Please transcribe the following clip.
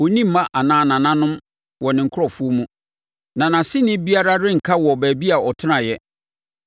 Ɔnni mma anaa nananom wɔ ne nkurɔfoɔ mu, na nʼase ni biara renka wɔ baabi a ɔtenaeɛ.